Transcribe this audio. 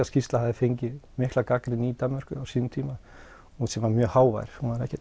skýrsla hafi fengið mikla gagnrýni í Danmörku á sínum tíma sem var mjög hávær